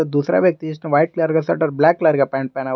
दूसरा व्यक्ति जिसने व्हाइट कलर का शर्ट और ब्लैक कलर का पेंट पहना हुआ--